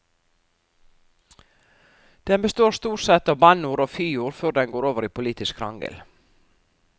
Den består stort sett av bannord og fyord før den går over i politisk krangel.